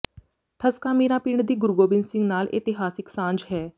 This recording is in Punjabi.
ਠਸਕਾ ਮੀਰਾਂ ਪਿੰਡ ਦੀ ਗੁਰੂ ਗੋਬਿੰਦ ਸਿੰਘ ਨਾਲ ਇਤਿਹਾਸਕ ਸਾਂਝ ਹੈ